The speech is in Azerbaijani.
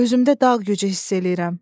Özümdə dağ gücü hiss eləyirəm.